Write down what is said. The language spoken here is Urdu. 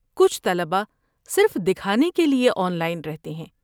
کچھ طلباء صرف دکھانے کے لیے آن لائن رہتے ہیں۔